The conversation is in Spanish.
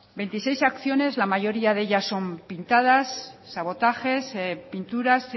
veintiséis acciones la mayoría de ellas son pintadas sabotajes pinturas